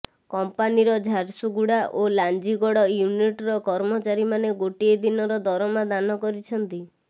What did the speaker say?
କଂପାନିର ଝାରସୁଗୁଡ଼ା ଓ ଲାଞ୍ଜିଗଡ଼ ୟୁନିଟ୍ର କର୍ମଚାରୀମାନେ ଗୋଟିଏ ଦିନର ଦରମା ଦାନ କରିଛନ୍ତି